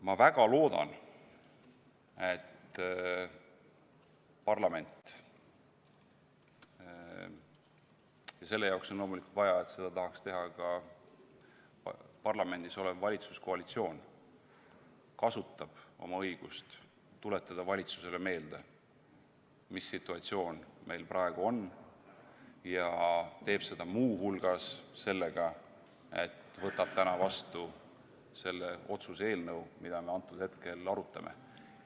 Ma väga loodan, et parlament – ja selle jaoks on loomulikult vaja, et seda tahaks teha ka parlamendis olev valitsuskoalitsioon – kasutab oma õigust tuletada valitsusele meelde, mis situatsioon meil praegu on, ja teeb seda muu hulgas sellega, et võtab täna vastu selle otsuse-eelnõu, mida me antud hetkel arutame.